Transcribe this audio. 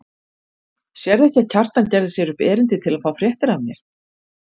Sérðu ekki að Kjartan gerði sér upp erindi til að fá fréttir af mér.